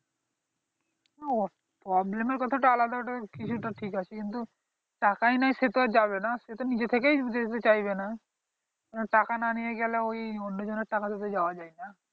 problem র কথাটা আলাদা ওটা ঠিক আছে কিন্তু টাকাই নেই সে তো আর যাবে না সে নিজে থেকেই যেতে চাইবে না টাকা না নিয়ে গেলে ওই অন্যজনের টাকা দে তো যাওয়া যায় না